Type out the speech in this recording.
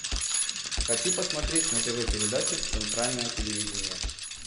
хочу посмотреть на тв передачу центральное телевидение